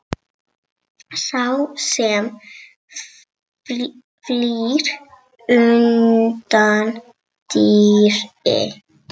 Sá sem flýr undan dýri.